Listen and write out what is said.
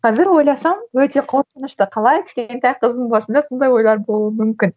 қазір ойласам өте қорқынышты қалай кішкентай қыздың басында сондай ойлар болуы мүмкін